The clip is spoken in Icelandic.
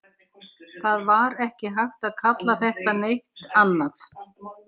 Það var ekki hægt að kalla þetta neitt annað.